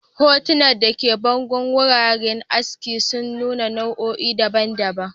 Hotunan da ke bangon wuraren askin sun nuna nau'o'i daban-daban.